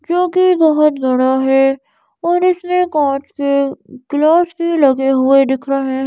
जो कि बहुत है और इसमें काँच के ग्लास भी लगे हुए दिख रहे--